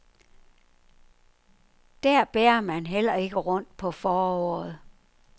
Der bærer man heller ikke rundt på foråret.